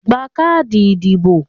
Gba káàdì ìdìbò!